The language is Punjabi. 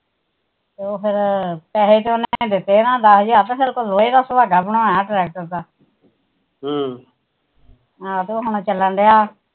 ਉਹ ਫਿਰ ਪੈਹੇ ਤਾ ਦਿਤੇ ਦਸ ਹਜਾਰ ਰੁਪਏ ਫਿਰ ਲੋਹੇ ਦਾ ਸੁਹਾਗਾ ਬਣਾਇਆ ਟਰੈਕਟਰ ਦਾ ਹਮ ਆਹੋ ਹੁਣ ਚੱਲਣ ਡਿਆ